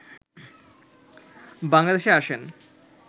বাংলাদেশে আসেন